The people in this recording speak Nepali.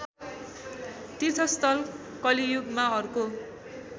तीर्थस्थल कलियुगमा अर्को